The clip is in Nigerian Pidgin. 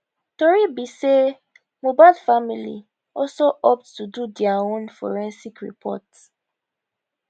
tori be say mohbad family also opt to do dia own forensic report